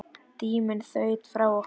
Tíminn þaut frá okkur.